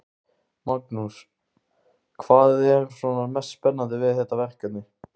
Magnús: Hvað er svona mest spennandi við þetta verkefni?